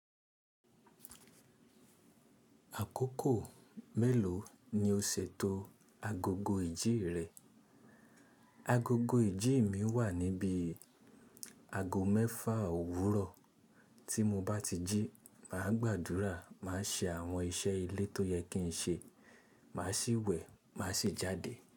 Àkókò mélòó ni o ṣètò agogo ìjí rẹ? Agogo ìjí mi wà níbi ago mẹ́fà òwúrọ̀. Tí mo bá ti jí, màá gbàdúrà, màá ṣe àwọn iṣẹ́ ilé tó yẹ kí n ṣe, màá sì wẹ̀, màá sì jáde.